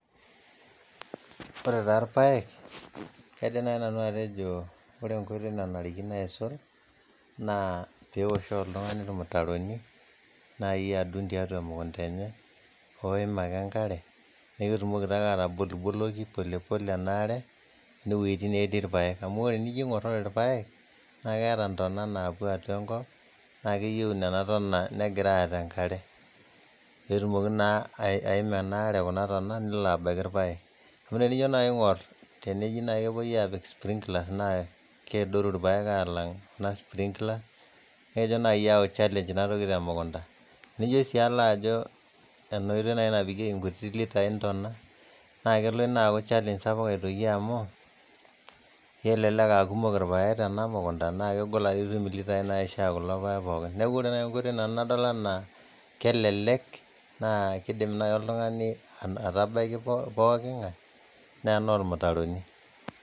Ore taa ilpayek kaidim naai nanu atejo ore enkoitoi nanarikino aisul naa peosh oltungani irmitaroni naa iyatun teatua irmukuntani oim ake inkare nikitumoki taake ataboliboloki polepole enaare inewejitin natii ilapayek amu ore inijo aing'orr, ore ilpayek naa keeta intana naapo aua enkop naa keyeu nenia intana negirai aata inkare, netumoki naa aiim anaare kuna tana nelo abaki ilpayek, naaku tinijo nai aing'orr neji naa kepoi aapik sprinkler naa keodoru ilpayek aalang ena sprinkler naa keitoki nai ayau challenge naa iatoki te mukunta, nijo sii alo ajo ena oitoi naa napikeki litai intona naa kelo ina aaku challenge sapuk aitoki amuu kelelek aakumok ilpayek tana mukunta naa kegol ake piitum litaii naishaa kulo ilpayek pookin naa ore tenadol enaa kelelek naa keidim nai oltungani atabaki pooki ing'ae naa noormitaroni.